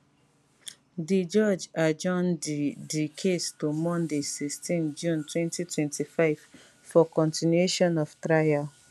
di judge adjourn di di case to monday 16 june 2025 for continuation of trial